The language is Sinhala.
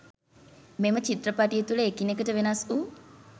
මෙම චිත්‍රපටිය තුල එකිනෙකට වෙනස් වූ